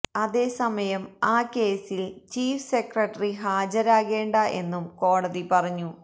അതെ സമയം ആ കേസിൽ ചീഫ് സെക്രട്ടറി ഹാജരാകേണ്ട എന്നും കോടതി പറഞ്ഞു